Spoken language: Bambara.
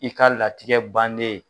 I ka latigɛ bannen